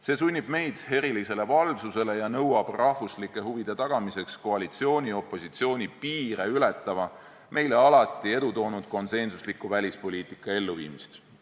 See sunnib meid erilisele valvsusele ja nõuab rahvuslike huvide tagamiseks koalitsiooni ja opositsiooni piire ületava, meile alati edu toonud konsensusliku välispoliitika elluviimist.